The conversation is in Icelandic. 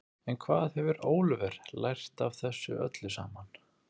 En hvað hefur Óliver lært af þessu öllu saman?